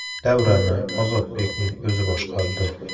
“Davrani [Ozodbekning] o‘zi boshqardi.